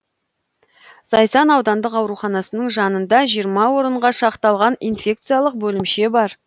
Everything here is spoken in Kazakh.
зайсан аудандық ауруханасының жанында жиырма орынға шақталған инфекциялық бөлімше бар